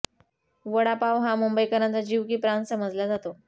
वडापाव हा मुंबईकरांचा जीव की प्राण समजला जातो